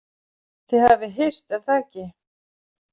Þið hafið hist, er það ekki?